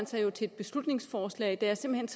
sig til et beslutningsforslag der simpelt